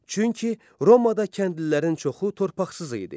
Çünki Romada kəndlilərin çoxu torpaqsız idi.